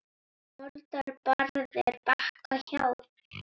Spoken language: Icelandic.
Moldar barð er Bakka hjá.